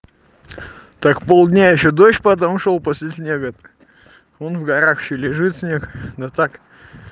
так полдня ещё дождь потом шёл после снега он в горах ещё лежит снег да так